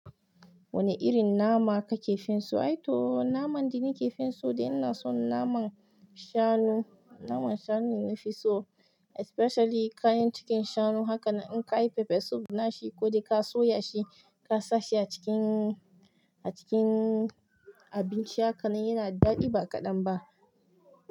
Wane irin nama ka ke fin so? Aito naman da ni ke fin so dai i na son naman shanu. Naman shanu ne na fi so especially kayan cikin shanu. Haka nan in ka yi pepper soup na shi ko dai ka soya shi ka sa shi a cikin, a cikin abinci haka nan yana daɗi ba kaɗan ba.